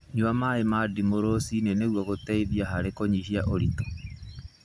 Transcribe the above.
Nyua maĩ ma ndimũ rũcinĩ nĩguo gũteithia harĩ kũnyihia ũritũ.